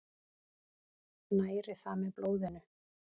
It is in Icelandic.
Næri það með blóðinu.